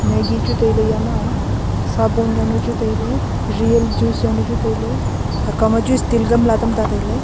maggie chu taile eyama sabon yaunu chu taile real juice yaunu chu taile takkau ma chu steal gamla tamta taile.